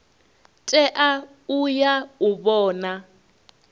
tea u ya u vhona